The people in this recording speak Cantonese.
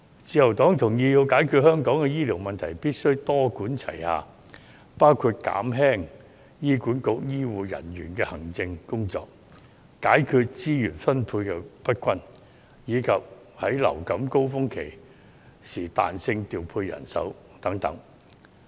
自由黨同意如要解決香港的醫療問題，必須多管齊下，包括減輕醫管局醫護人員的行政工作、解決資源分配不均，以及在季節性流行性感冒高峰期間彈性調配人手等。